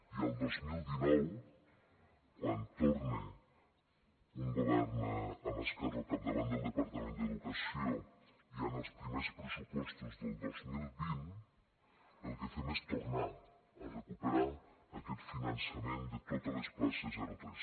i el dos mil dinou quan torna un govern amb esquerra al capdavant del departament d’educació ja en els primers pressupostos del dos mil vint el que fem és tornar a recuperar aquest finançament de totes les places zero tres